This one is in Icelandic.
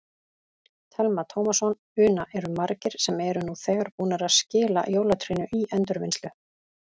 Telma Tómasson: Una, eru margir sem eru nú þegar búnir að skila jólatrénu í endurvinnslu?